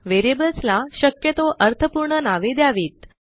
व्हेरिएबल्सला शक्यतो अर्थपूर्ण नावे द्यावीत